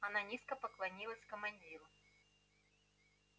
она низко поклонилась командиру